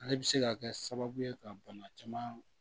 Ale bi se ka kɛ sababu ye ka bana caman